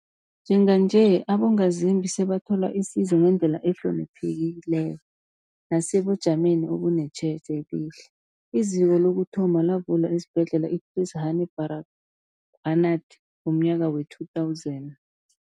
Njenganje, abongazimbi sebathola isizo ngendlela ehloniphekileko nesebujameni obunetjhejo elihle. IZiko lokuthoma lavulwa esiBhedlela i-Chris Hani Baragwanath ngomnyaka we-2000.